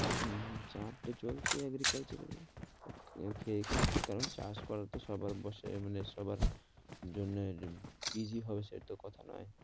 হম চাপ তো চলছে agriculture এর ঠিক কারণ চাষ করা সবার বসে মানে সবার জন্য যে easy হবে সেটা তো কথা নয়,